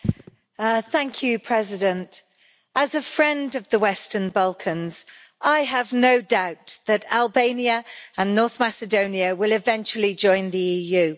Mr President, as a friend of the Western Balkans, I have no doubt that Albania and North Macedonia will eventually join the EU.